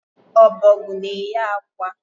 Ọbọgwụ na eye akwa